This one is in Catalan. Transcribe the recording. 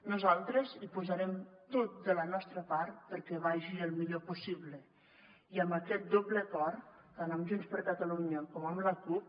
nosaltres hi posarem tot de la nostra part perquè vagi el millor possible i amb aquest doble acord tant amb junts per catalunya com amb la cup